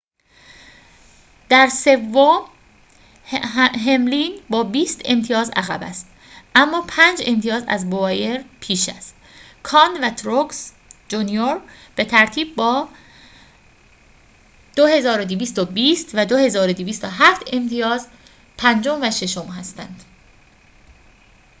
در سوم هملین با بیست امتیاز عقب است اما پنج امتیاز از بوایر پیش است کان و تروکس جونیور به ترتیب با ۲۲۲۰ و ۲۲۰۷ امتیاز پنجم و ششم هستند